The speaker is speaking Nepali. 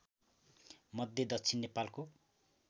मध्य दक्षिण नेपालको